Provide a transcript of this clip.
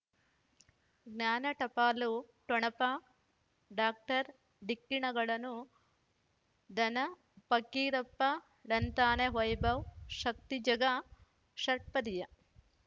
ಜ್ಞಾನ ಟಪಾಲು ಠೊಣಪ ಡಾಕ್ಟರ್ ಢಿಕ್ಕಿ ಣಗಳನು ಧನ ಫಕೀರಪ್ಪ ಳಂತಾನೆ ವೈಭವ್ ಶಕ್ತಿ ಝಗಾ ಷಟ್ಪದಿಯ